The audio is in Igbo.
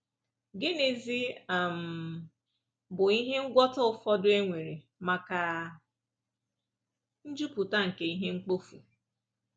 Gịnịzi um bụ ihe ngwọta ụfọdụ e nwere maka njupụta nke ihe mkpofu?